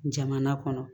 Jamana kɔnɔ